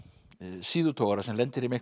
síðutogara sem lendir í miklum